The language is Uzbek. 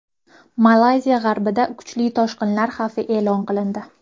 Malayziya g‘arbida kuchli toshqinlar xavfi e’lon qilindi.